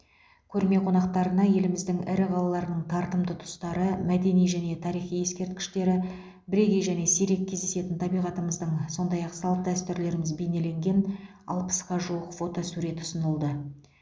көрме қонақтарына еліміздің ірі қалаларының тартымды тұстары мәдени және тарихи ескерткіштері бірегей және сирек кездесетін табиғатымыздың сондай ақ салт дәстүрлеріміз бейнеленген алпысқа жуық фотосурет ұсынылды